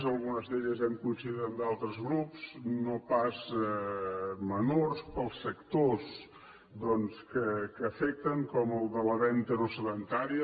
en algunes d’aquestes hem coincidit amb d’altres grups no pas menors pels sectors que afecten com el de la venda no sedentària